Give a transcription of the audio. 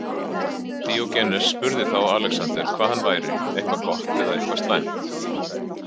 Díógenes spurði þá Alexander hvað hann væri, eitthvað gott eða eitthvað slæmt.